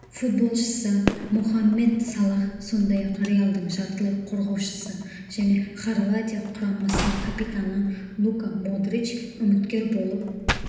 футболшысы мохаммед салах сондай-ақ реалдың жартылай қорғаушысы және хорватия құрамасының капитаны лука модрич үміткер болып